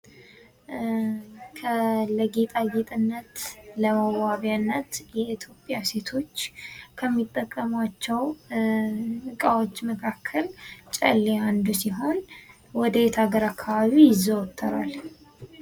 ለጌጣጌጥነት ፣ ለመዋቢያነት የኢትዮጵያ ሴቶች ከሚጠቀሙአቸው እቃዎች መካከል ጨሌ አንዱ ሲሆን ወዴት ሀገር አካባቢ ይዘወተራል ?